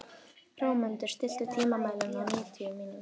Hrómundur, stilltu tímamælinn á níutíu mínútur.